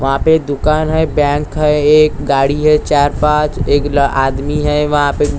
वहां पे दुकान है बैंक है एक गाड़ी है चार पांच एक ल आदमी है वहां पे--